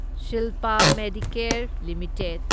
Shilpa Medicare limited